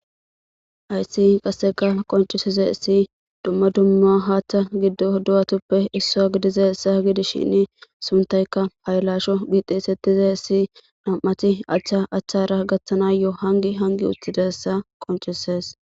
ayssi qasseka qoncisize issi dumma dumma haaththa giddo du7atuppe issaa gidize issa h gidishinn suntayka haylasho giixisettize issi nam7ati achcha achchara gaththanayo7o hangi hangi utidessa qoncises